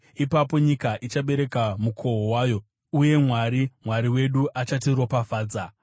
Ipapo nyika ichabereka mukohwo wayo, uye Mwari, Mwari wedu, achatiropafadza.